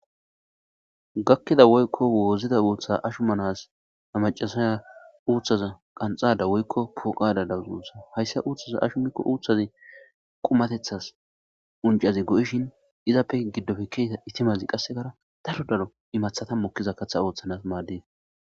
gakkida woykko woozida uuththa ashu manas macasaya uuththaza qanxada woykko pooqada dawuz uussa hayssa uuthaza ashu mikko uuththazi qumatethas uncazi go7ishin izappe giddofe keeta itimazi qassekara dalo daro imathata mokkiza katha ooththanas maaddes